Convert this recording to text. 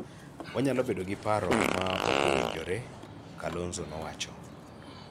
wanyalo bedo gi paro ma ok owinjore," Kalonzo nowacho.